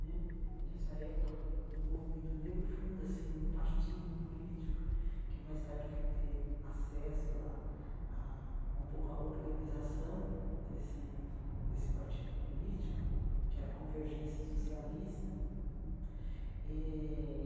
Né nessa época do do movimento negro, funda-se um partido político, que mais tarde, eu fui ter acesso ah ah um pouco à organização desse desse partido político, que era a Convergência Socialista hum eh.